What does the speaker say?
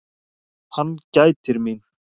Hann gætir mín.